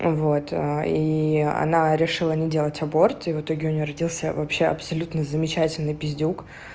вот и она решила не делать аборт и в итоге у неё родился вообще абсолютно замечательный пиздюк